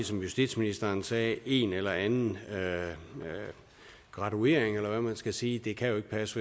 som justitsministeren sagde en eller anden graduering eller hvad man skal sige det kan jo ikke passe